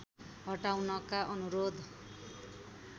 हटाउनका अनुरोध